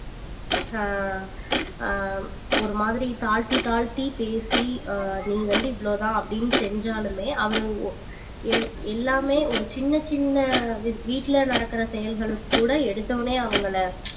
ஆஹ் ஆஹ் ஒரு மாதிரி தாழ்த்தி தாழ்த்தி பேசி ஆஹ் நீ வந்து இவ்ளோதான் அப்படின்னு செஞ்சாலுமே அவரு ஒ எல்~ எல்லாமே ஒரு சின்ன சின்ன வீ~ வீட்டுல நடக்கிற செயல்களுக்கு கூட எடுத்தவுடனே அவங்களை